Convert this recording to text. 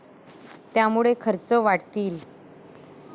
त्यामुळे खर्च वाढतील.